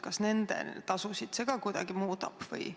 Kas see nende tasusid kuidagi muudab?